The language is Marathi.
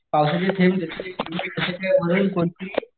पावसाची थेंब